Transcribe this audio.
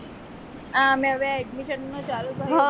આ અમે હવે admission નું ચાલુ થયું